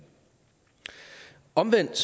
omvendt